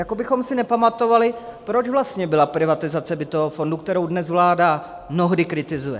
Jako bychom si nepamatovali, proč vlastně byla privatizace bytového fondu, kterou dnes vláda mnohdy kritizuje.